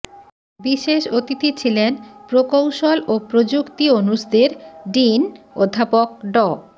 বিশেষ অতিথি ছিলেন প্রকৌশল ও প্রযুক্তি অনুষদের ডিন অধ্যাপক ড